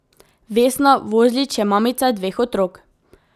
Vesna Vozlič je mamica dveh otrok.